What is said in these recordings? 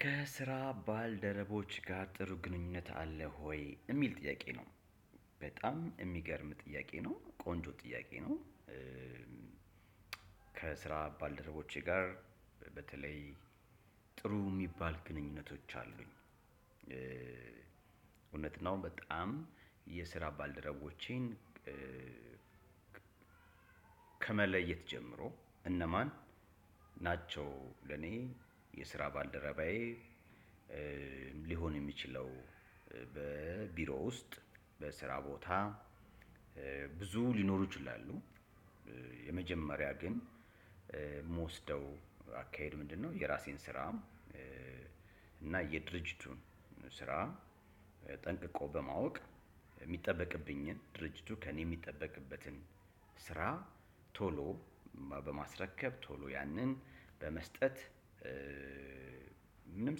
ከስራ ባልደረቦችህ ጋር ጥሩ ግንኙነት አለህ ሆይ? የሚል ጥያቄ ነው በጣም የሚገርም ጥያቄ ነው ቆንጆ ጥያቄ ነው። ከስራ ባልደረቦቼ ጋር በተለይ ጥሩ የሚባል ግንኙነቶች አሉኝ። ነው በጣም የስራ ባልደረቦቼን ከመለየት ጀምሮ እነማን ናቸው? ለኔ የስራ ባልደረባዬ ሊሆን የሚችለው በቢሮ ውስጥ በስራ ቦታ ብዙ ሊኖሩ ይችላሉ። የመጀመሪያ ግን የምወስደው አካሄድ ምንድነው? የራሴን ስራም እና የድርጅቱ ስራ ጠንቅቆ በማወቅ ሚጠበቅብኝን ድርጅቱ ከኔ የሚጠበቅበትን ስራ ቶሎ በማስረከብ እና ቶሎ ያንን በመስጠት። ምንም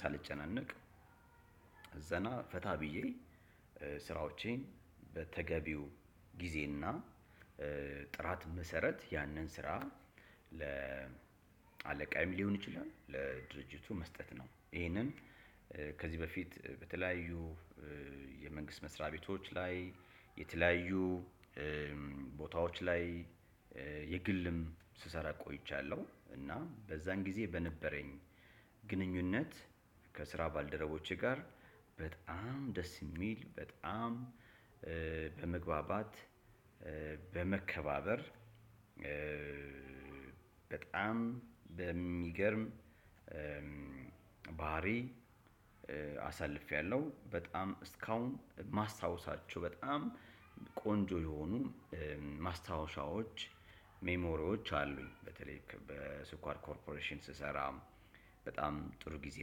ሳልጨናነቅ ዘና ፈታ ብዪ ስራዎቼን በተገቢው ጊዜ እና ጥራት መሰረት ያንን ስራ ለአለቃየም ሊሆን ይችላል ለድርጅቱ መስጠት ነው። ይህንን ከዚህ በፊት በተለያዩ የመንግስት መስሪያ ቤቶች ላይ የተለያዩ ቦታዎች ላይ የግልም ስሰራ ቆይቻለሁ። እና በዛን ጊዜ በነበረኝ ግንኙነት ከስራ ባልደረቦቼ ጋር በጣም ደስ የሚል በጣም በመግባባት በመከባበር በጣም በሚገርም ባህሪ አሳልፌያለሁ። በጣም እስካሁን ማስታወሻቸው በጣም ቆንጆ የሆኑ ማስታወሻዎች ሜሞሪዎች አሉኝ። በተለይ በስኳር ኮርፖሬሽን ስሰራ በጣም ጥሩ ጊዜ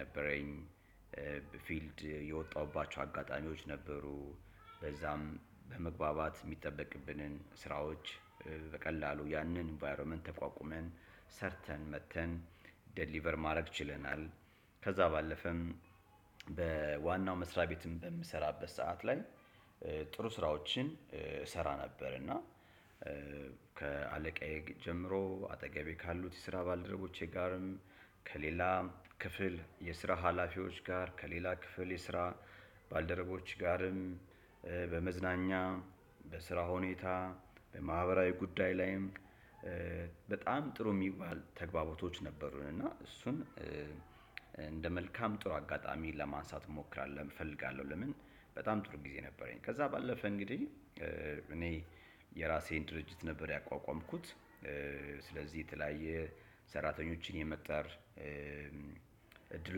ነበረኝ። ፊልድ የወጣሁባቸው አጋጣሚዎች ነበሩ በዛም በመግባባት የሚጠበቅብንን ስራዎች በቀላሉ ያንን ኢንቫይሮመንት ተቋቁመን ሰርተን መጥተን ዴሊቨር ማድረግ ችለናል። ከዛ ባለፈም በዋናው መስሪያ ቤትም በምሰራበት ሰዓት ላይ ጥሩ ስራዎችን እሰራ ነበር። እና ከአለቃዬ ጀምሮ አጠገቤ ካሉት የስራ ባልደረቦቼ ጋርም ከሌላ ክፍል የስራ ሀላፊዎች ጋር ከሌላ ክፍል የስራ ባልደረቦች ጋርም በመዝናኛ በስራ ሁኔታ በማህበራዊ ጉዳይ ላይም በጣም ጥሩ የሚባል ተግባባቶች ነበሩን። እና እሱን እንደ መልካም ጥሩ አጋጣሚ ለማንሳት እሞክራለሁ እፈልጋለሁ ለምን በጣም ጥሩ ጊዜ ነበረኝ። ከዛ ባለፈ እንግዲህ እኔ የራሴን ድርጅት ነበር ያቋቋምኩት። ስለዚህ የተለያየ ሰራተኞችን የመቅጠር እድሉ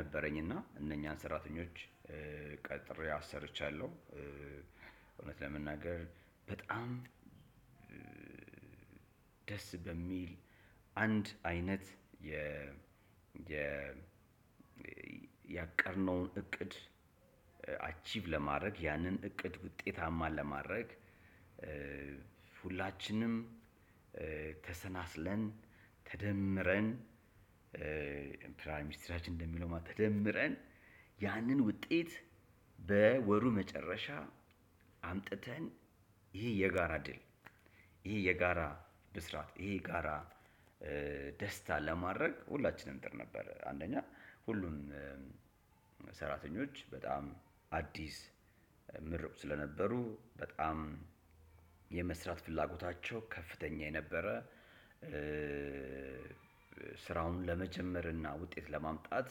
ነበረኝ እና እነኛን ሰራተኞች ቀጥሬ አሰርቻለሁ። እውነት ለመናገር በጣም ደስ በሚል አንድ አይነት የ ያቀድነውን እቅድ አቺቭ ለማድረግ ያንን እቅድ ውጤታማን ለማድረግ። ሁላችንም ተሰባስበን ተደምረን ፕራይ ሚኒስትራችን እንደሚለው ተደምረን ያንን ውጤት በወሩ መጨረሻ አምጥተን ይህ የጋራ ድል ይሄ የጋራ ብስራት፣ ይሄ ጋራ ደስታ፣ ለማድረግ ሁላችንም ጥር ነበር። አንደኛ ሁሉን ሰራተኞች በጣም አዲስ ምሩቅ ስለነበሩ በጣም የመስራት ፍላጎታቸው ከፍተኛ የነበረ። ስራውን ለመጀመር እና ውጤት ለማምጣት።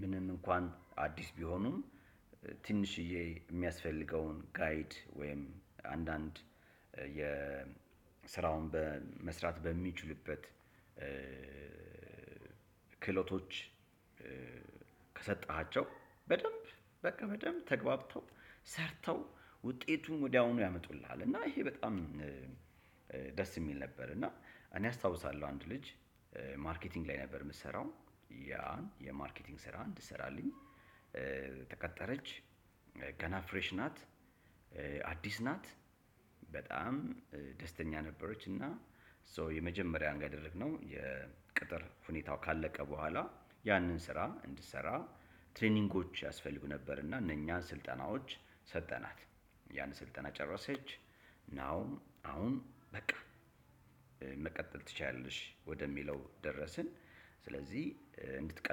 ምንም እንኳን አዲስ ቢሆኑም ትንሽዬ የሚያስፈልገውን ጋይድ ወይም አንዳንድ የስራውን በመስራት በሚችሉበት ክህሎቶች ከሰጠሃቸው በደንብ በቃ በደንብ ተግባብተው ሰርተው ውጤቱን ወዲያውኑ ያመጡልሃል። እና ይሄ በጣም ደስ የሚል ነበር። እና እኔ አስታውሳለሁ አንድ ልጅ ማርኬቲንግ ላይ ነበር የምሰራው። ያን የማርኬቲንግ ስራ እንዲሰራልኝ ተቀጠረች ገና ፍሬሽ ናት አዲስ ናት በጣም ደስተኛ ነበረች። እና ሶ የመጀመሪያ አንግዲ ያደረግነው የቅጥር ሁኔታው ካለቀ በኋላ ያንን ስራ እንድትሰራ ትሬኒንጎች ያስፈልጉ ነበር እና እነኛ ስልጠናዎች ሰጠናት ያን ስልጠና ጨረሰች። ናው አሁን በቃ መቀጠል ትችያለሽ ወደሚለው ደረስን። ስለዚህ እንድትቀጥል